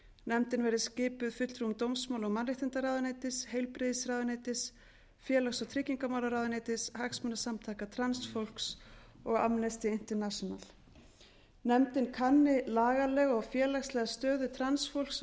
nefndin verði skipuð fulltrúum dómsmála og mannréttindaráðuneytis heilbrigðisráðuneytis félags og tryggingamálaráðuneytis hagsmunasamtaka transfólks og amnesty international nefndin kanni lagalega og félagslega stöðu transfólks á